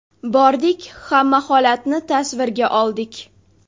Bordik, hamma holatni tasvirga oldik.